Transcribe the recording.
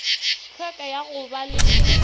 hlweka ya go ba le